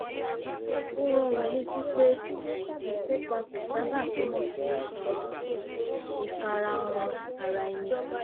ó rán wọn létí pé ìkópa kò sábà túmọ̀ sí ìfarahàn ara ẹni